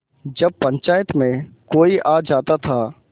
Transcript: जब पंचायत में कोई आ जाता था